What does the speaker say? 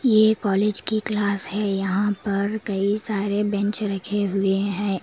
ये कॉलेज की क्लास है यहां पर कई सारे बेंच रखे हुए हैं।